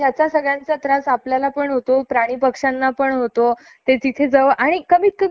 industry तुम्ही उभारताय तर ती कमीत कमी एका रेसिडेंसिअल एरिया चा बाहेर तर उभारा ना,